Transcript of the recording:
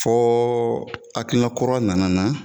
Ɔ akilina kura nana n na.